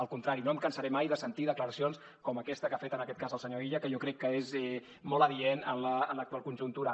al contrari no em cansaré mai de sentir declaracions com aquesta que ha fet en aquest cas el senyor illa que jo crec que és molt adient en l’actual conjuntura